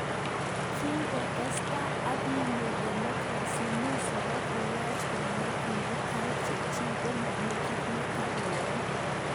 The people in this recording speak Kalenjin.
Kinkotesetai ak koyoe democracy ,musa kokiyach konai kiptubatai Chechik komomi kit netot koyai.